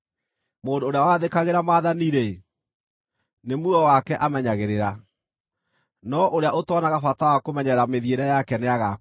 Mũndũ ũrĩa wathĩkagĩra maathani-rĩ, nĩ muoyo wake amenyagĩrĩra, no ũrĩa ũtoonaga bata wa kũmenyerera mĩthiĩre yake nĩagaakua.